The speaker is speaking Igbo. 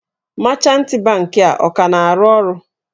Mechantị bankị a ọ ka na-arụ ọrụ?